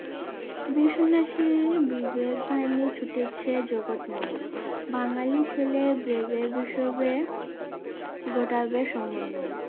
বিশ্নেষী বিবেক ভারমে ছুটেছে জগৎময় বাঙালি ছেলে হিসাবে গোটাবে সম্মনয়